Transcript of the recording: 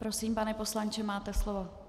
Prosím, pane poslanče, máte slovo.